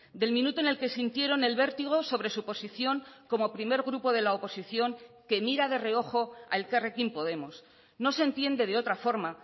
del minuto en el que sintieron el vértigo sobre su posición como primer grupo de la oposición que mira de reojo a elkarrekin podemos no se entiende de otra forma